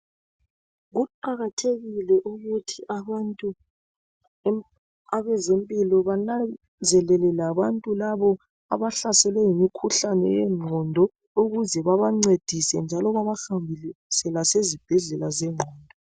Kuqakathekile ukuthi abantu abezempilo bananzelele labantu labo abahlaselwe yimikhuhlane yengqondo ukuze babancedise njalo babahambise lasezibhedlela zengqondo.